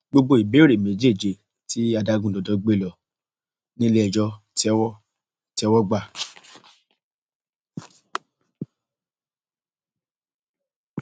gbogbo ìbéèrè méjèèje tí adágúndọdọ gbé ló nílẹẹjọ tẹwọ tẹwọ gbà